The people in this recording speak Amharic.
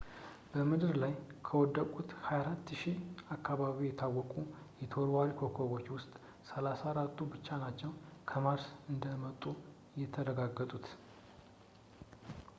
በምድር ላይ ከወደቁት 24,000 አካባቢ የታወቁ ተወርዋሪ ኮከቦች ውስጥ 34ቱ ብቻ ናቸው ከ ማርስ እንደመጡ የተረጋገጡት